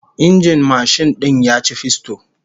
Injin mashin din ya ci fisto